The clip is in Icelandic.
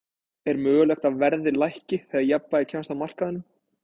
Er mögulegt að verðið lækki þegar jafnvægi kemst á á markaðnum?